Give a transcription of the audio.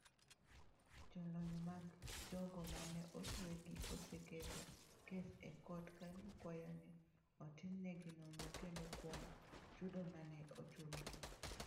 Jolony mag jogo ma ne otwegi oseketo kes e kot ka gikwayo ni otimnegi nonro kendo kuom chudo ma ne ochulgi.